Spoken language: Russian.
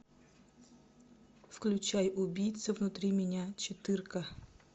включай убийца внутри меня четыре ка